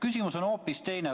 Küsimus on hoopis teine.